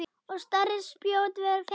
Og stærri spjót voru fengin.